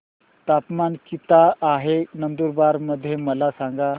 तापमान किता आहे नंदुरबार मध्ये मला सांगा